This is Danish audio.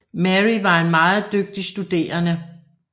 Mary var en meget dygtig studerende